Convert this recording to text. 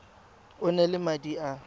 o na le madi a